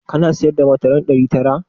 Kana siyar da madarar ɗari tara?